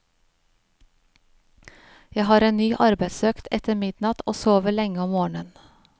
Jeg har en ny arbeidsøkt etter midnatt og sover lenge om morgen.